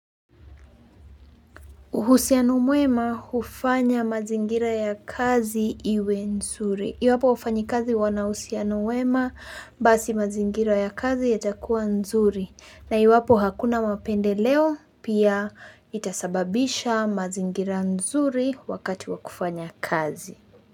Uhusiano mwema hufanya mazingira ya kazi iwe nzuri. Iwapo wafanyikazi wanauhusiano mwema, basi mazingira ya kazi yatakua nzuri. Na iwapo hakuna mapendeleo, pia itasababisha mazingira nzuri wakati wa kufanya kazi.